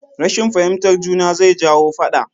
Rashin fahimtar juna zai jawo faɗa